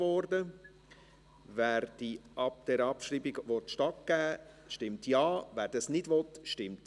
Wer dieser Abschreibung stattgeben will, stimmt Ja, wer dies ablehnt, stimmt Nein.